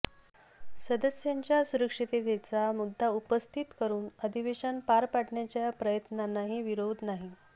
सदस्यांच्या सुरक्षिततेचा मुद्दा उपस्थित करून अधिवेशन पार पाडण्याच्या प्रयत्नांनाही विरोध नाही